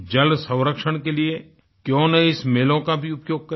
जल संरक्षण के लिए क्यों ना इस मेलों का भी उपयोग करें